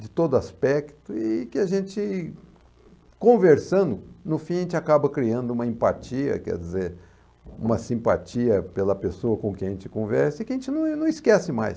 de todo aspecto, e que a gente, conversando, no fim a gente acaba criando uma empatia, quer dizer, uma simpatia pela pessoa com quem a gente conversa e que a gente não não esquece mais.